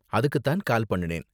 அதுக்கு தான் கால் பண்ணுனேன்.